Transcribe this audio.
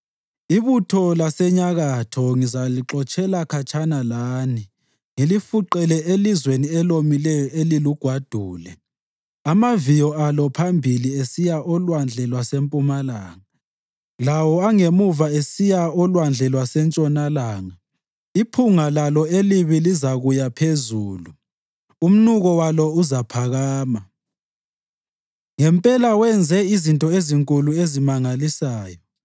Ibutho lasenyakatho ngizalixotshela khatshana lani, ngilifuqele elizweni elomileyo elilugwadule, amaviyo alo aphambili esiya olwandle lwasempumalanga lawo angemuva esiya olwandle lwasentshonalanga. Iphunga lalo elibi lizakuya phezulu, umnuko walo uzaphakama.” Ngempela wenze izinto ezinkulu ezimangalisayo.